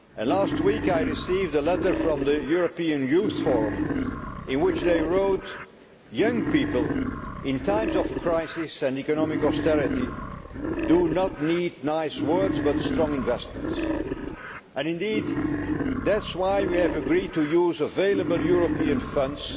Last week, I received a letter from the European Youth Forum in which they wrote Young people, in times of crisis and economic austerity, do not need nice words but strong investments'. And indeed, that is why we have agreed to use available European funds